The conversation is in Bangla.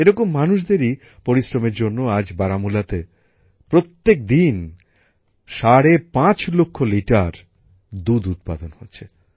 এরকম মানুষদেরই পরিশ্রমের জন্য আজ বারামুলাতে প্রত্যেকদিন সাড়ে পাঁচ লক্ষ লিটার দুধ উৎপাদন হচ্ছে